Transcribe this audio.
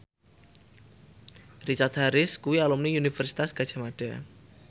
Richard Harris kuwi alumni Universitas Gadjah Mada